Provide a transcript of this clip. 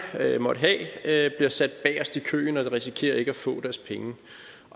måtte have bliver sat bagerst i køen og de risikerer ikke at få deres penge